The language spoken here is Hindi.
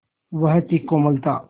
वह थी कोमलता